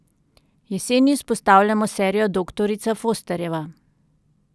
Jeseni izpostavljamo serijo Doktorica Fosterjeva.